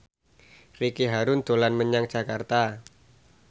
Ricky Harun dolan menyang Jakarta